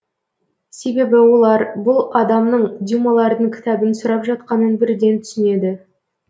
себебі олар бұл адамның дюмалардың кітабын сұрап жатқанын бірден түсінеді